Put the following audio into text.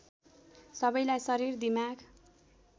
सबैलाई शरीर दिमाग